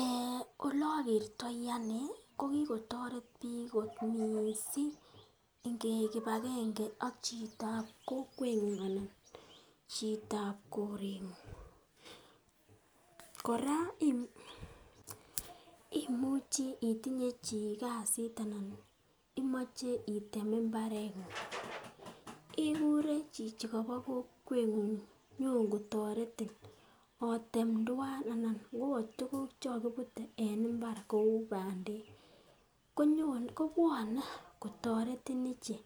Eeeh ole ogertoi ane ko kigotoret biik kot mising ingeik kipagenge ak chitab kokweng'ung anan chitab koreng'ung kora imuchi itinye chi kasit anan imoche item mbareng'ung, igure chichi kobo kokweng'ung nyongo toretin otem twan. Anan ngo ka tuguk che kogibute en mbar kou bandek kobwone kotoretin ichek.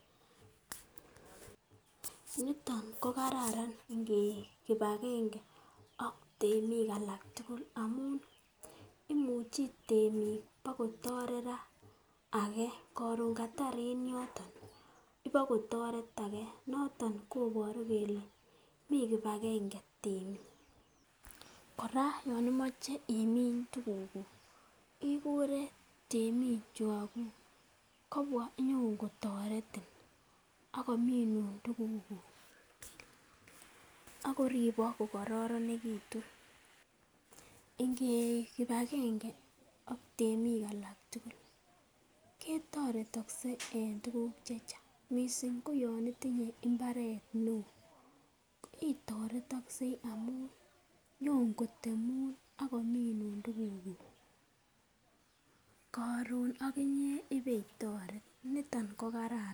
Niton kokararan ingeik kipagenge ak temik alak tugul ngamun imuche temik bakotoret ra age koron katar en yoton ibakotoret age, noton koboru kole mi kipagenge temik. Kora yon imoche imin tugukuk ikure temik chukokuk kobwa iyokotoretin ak kominun tugukuk ak koribok ko kororonegitun. Ingeik kipagenge ak tmeik alak tugul, kitoretogse en tuguk che chang mising koyon itinye mbaret neo, itoretoksei amun nyonkotemun ak kominun tugukuk, koron oginye ibeitoret. Niton ko kararan.